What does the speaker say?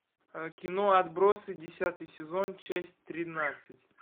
кино отбросы десятый сезон часть тринадцать